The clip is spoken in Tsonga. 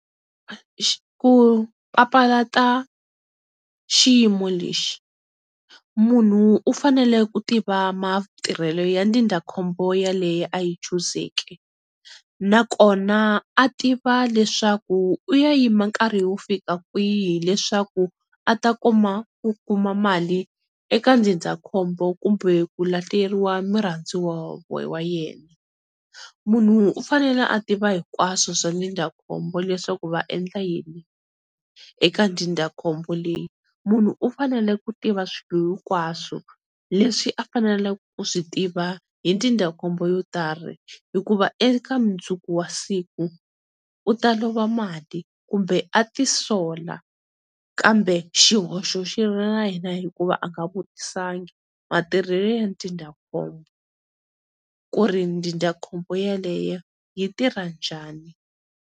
Ku papalata xiyimo lexi, munhu u fanele ku tiva matirhelo ya ndzindzakhombo ya leyi a yi chuzeke, na ko na a tiva leswaku u ya yima nkarhi wo fika kwihi leswaku a ta kuma ku kuma mali eka ndzindzakhombo kumbe ku lahleriwa murhandziwa wa yena. Munhu u fanele a tiva hinkwaswo swa ndzindzakhombo leswaku va endla yini eka dzindzakhombo leyi, munhu u fanele ku tiva swilo hinkwaswo leswi a faneleke ku swi tiva hi ndzindzakhombo yo karhi hikuva eka mundzuku wa siku u ta lova mali kumbe a tisola, kambe xihoxo xi ri na yena hikuva a nga vutisangi matirhelo ya ndzindzakhombo ku ri ndzindzakhombo yaleyo yi tirha njhani?